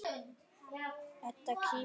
Edda kímir.